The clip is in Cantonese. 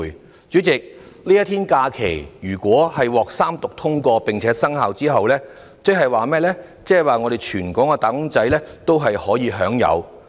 代理主席，如果這一天假期獲三讀通過，在日後生效時全港"打工仔"皆可享有。